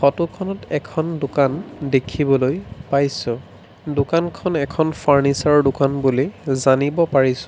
Photo খনত এখন দোকান দেখিবলৈ পাইছোঁ দোকানখন এখন ফাৰ্ণিচাৰ ৰ দোকান বুলি জানিব পাৰিছোঁ।